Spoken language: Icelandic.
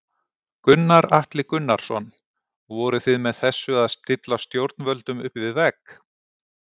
Gunnar Atli Gunnarsson: Voruð þið með þessu að stilla stjórnvöldum upp við vegg?